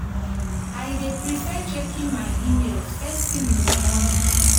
i dey prefer checking my emails first thing in the morning.